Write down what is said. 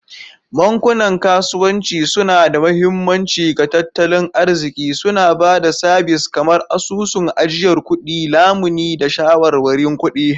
Bankunan kasuwanci suna da mahimmanci ga tattalin arziki, suna ba da sabis kamar asusun ajiyar kuɗi, lamuni, da shawarwarin kuɗi.